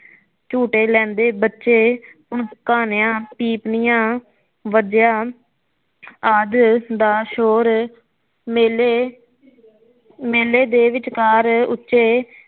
ਝੂਟੇ ਲੈਦੇ ਬੱਚੇ ਪਕਾਨਿਆ ਪੀਪਣੀਆ ਵਾਜਿਆ ਆਦਿ ਦਾ ਸ਼ੋਰ ਮੇਲੇ ਮੇਲੇ ਦੇ ਵਿਚਕਾਰ ਉੱਚੇ